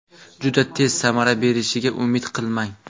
Juda tez samara berishiga umid qilmang.